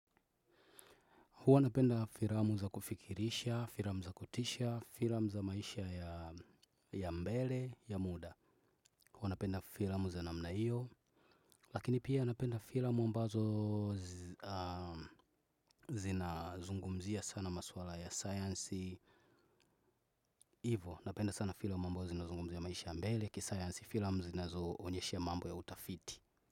Huwa napenda firamu za kufikirisha, firamu za kutisha, firamu za maisha ya mbele, ya muda. Huwa napenda firamu za namna iyo. Lakini pia napenda firamu ambazo zinazungumzia sana maswala ya science. Ivo napenda sana firamu ambazo zinazungumzia ya maisha ya mbele ya kiscience. Firamu zinazoonyeshe mambo ya utafiti.